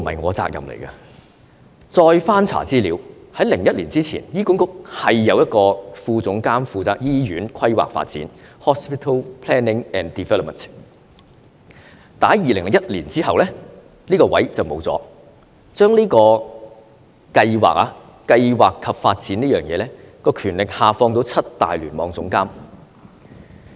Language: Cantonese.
我再翻查資料，在2001年之前，醫管局有一名副總監負責醫院規劃發展，但是在2001年之後，這個職位不見了，將這個規劃及發展的權力下放到七大聯網總監。